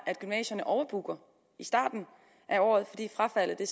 at gymnasierne overbooker i starten af året fordi frafaldet